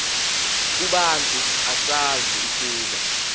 kubantu usazi ukuba